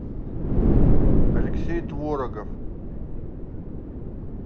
алексей творогов